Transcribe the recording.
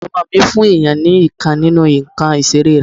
ọmọ mí fún èyàn ni ìkan nínú ǹkan ìseré